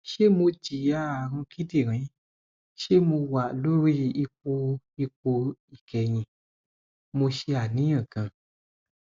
se mo jiya arun kidirin se mo wa lori ipo ipo ikehin mo se aniyan gan